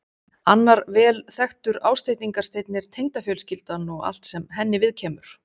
Annar vel þekktur ásteytingarsteinn er tengdafjölskyldan og allt sem henni viðkemur.